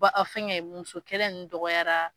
Ba aw fɛnkɛ muso kɛlɛ nunnu dɔgɔyara.